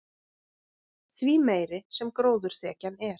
því meiri sem gróðurþekjan er